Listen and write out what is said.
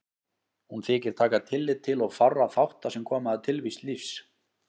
Hún þykir taka tillit til of fárra þátta sem koma að tilvist lífs.